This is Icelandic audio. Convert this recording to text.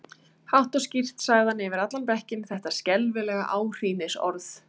Hátt og skýrt sagði hann yfir allan bekkinn þetta skelfilega áhrínsorð